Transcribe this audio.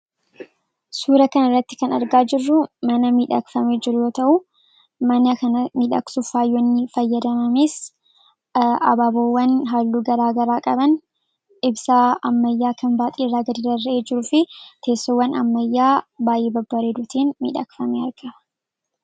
Suura kanarratti kan argaa jirru mana miidhagfamee jiru yoo ta'u, mana kana miidhagsuuf faayonni fayyadamames habaaboowwan halluuu garaa garaa qaban ibsaa ammayyaa kan baaxiirraa gadi rarra'ee jiruu fi teessoowwan ammayyaa baay'ee babbareeduutiin miidhagfamee argama.